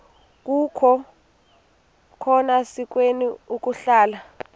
akukhona sikweni ukuhlala